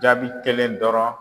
Jaabi kelen dɔrɔn.